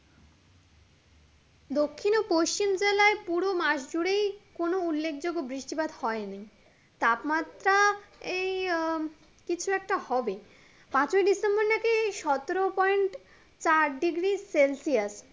দক্ষিণ ও পশ্চিম জেলায় পুড়ো মাস জুড়েই কোনো উল্লেখযোগ্য বৃষ্টিপাত হয়নি তাপমাত্রা এই আহ কিছু একটা হবে পাঁচই ডিসেম্বর নাকি সতেরো পয়েন্ট চার ডিগ্রি সেলসিয়াস